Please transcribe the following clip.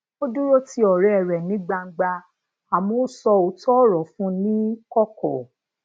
ó dúró ti òré rè ni gbangba àmó ó sọ òótó òrò fun un ni koko